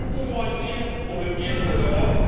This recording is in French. Nous pouvons agir pour le bien de l'Europe.